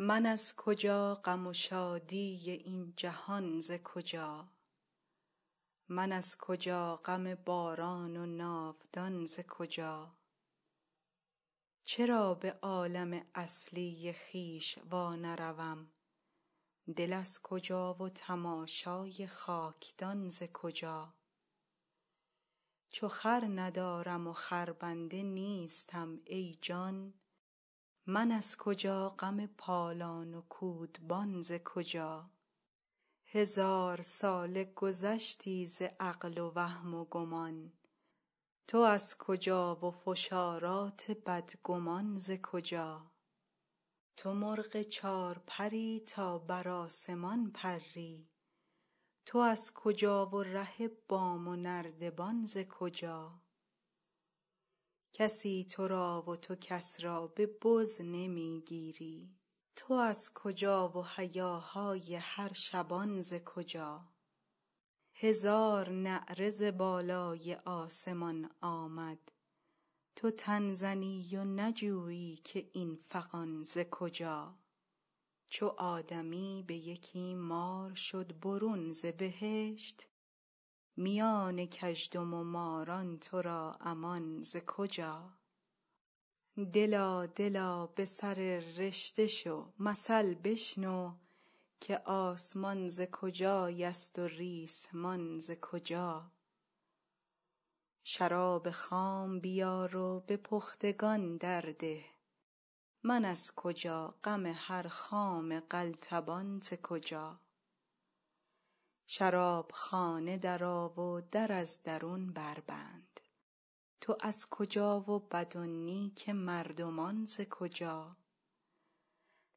من از کجا غم و شادی این جهان ز کجا من از کجا غم باران و ناودان ز کجا چرا به عالم اصلی خویش وانروم دل از کجا و تماشای خاک دان ز کجا چو خر ندارم و خربنده نیستم ای جان من از کجا غم پالان و کودبان ز کجا هزار ساله گذشتی ز عقل و وهم و گمان تو از کجا و فشارات بدگمان ز کجا تو مرغ چار پر ی تا بر آسمان پری تو از کجا و ره بام و نردبان ز کجا کسی تو را و تو کس را به بز نمی گیری تو از کجا و هیاهای هر شبان ز کجا هزار نعره ز بالای آسمان آمد تو تن زنی و نجویی که این فغان ز کجا چو آدمی به یکی مار شد برون ز بهشت میان کژدم و ماران تو را امان ز کجا دلا دلا به سر رشته شو مثل بشنو که آسمان ز کجایست و ریسمان ز کجا شراب خام بیار و به پختگان درده من از کجا غم هر خام قلتبان ز کجا شراب خانه درآ و در از درون دربند تو از کجا و بد و نیک مردمان ز کجا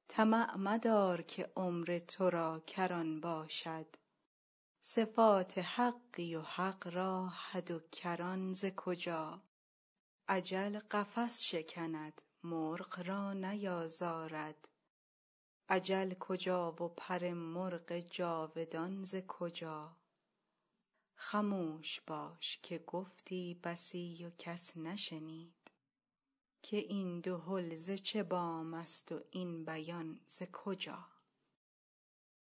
طمع مدار که عمر تو را کران باشد صفات حقی و حق را حد و کران ز کجا اجل قفس شکند مرغ را نیازارد اجل کجا و پر مرغ جاودان ز کجا خموش باش که گفتی بسی و کس نشنید که این دهل ز چه بام ست و این بیان ز کجا